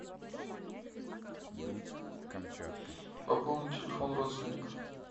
пополнить телефон родственника